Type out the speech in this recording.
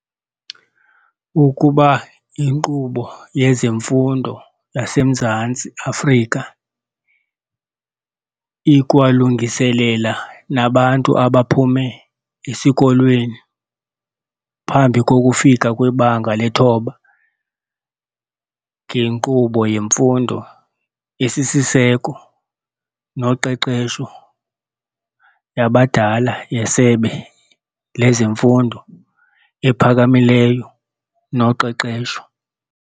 Ukuba inkqubo yezemfundo yaseMzantsi Afrika ikwalungiselela nabantu abaphume esikolweni phambi kokufika kwiBanga leThoba, ngenkqubo yemfundo esisiseko noqeqesho yabadala yeSebe lezeMfundo ePhakamileyo noQeqesho.